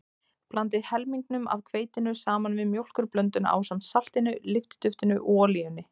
Blandið helmingnum af hveitinu saman við mjólkurblönduna ásamt saltinu, lyftiduftinu og olíunni.